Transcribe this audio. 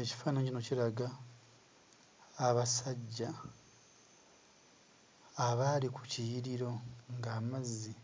Ekifaananyi kino kiraga abasajja abaali ku kiyiriro ng'amazzi